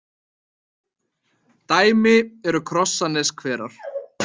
Dæmi eru Krossaneshverar.